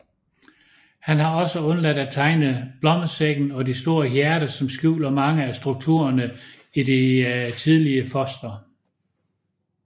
Han har også undladt at tegne blommesækken og det store hjerte som skjuler mange af strukturerne i det tidlige foster